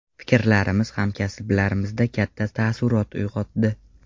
Fikrlarimiz hamkasblarimizda katta taassurot uyg‘otdi.